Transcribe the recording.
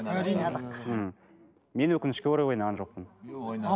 әрине ойнадық ммм мен өкінішке орай ойнаған жоқпын